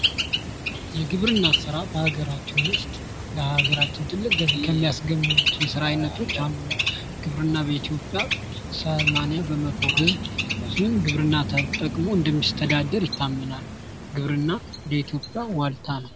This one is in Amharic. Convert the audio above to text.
የግብርና ሥራ በሀገራችን ዉስጥ ለሀገራችን ትልቅ ገቢ ከሚያስገኙ የስራ አይነቶች አንዱ ነው:: ግብርና በኢትዮጵያ ሰማንያ በመቶ ሕዝብ ግብርና ተጠክሞ እንደሚተዳደር ይታመናል:: ግብርና ለኢትዮጵያ ዋልታ ነው::